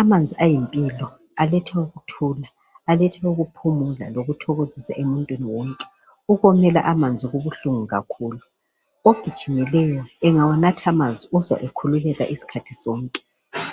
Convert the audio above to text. Amanzi ayimpilo aletha ukuthula aletha ukuphumula lokuthokozisa emuntwini wonke ukomela amanzi kubuhlungu kakhulu ogijimileyo engawanatha amanzi uzwa ekhululeka isikhathi sonke